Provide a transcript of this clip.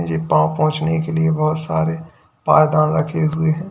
ये पांव पोछने के लिए बहोत सारे पायदान रखे हुए हैं।